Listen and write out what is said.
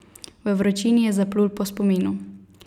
V vročini je zaplul po spominu.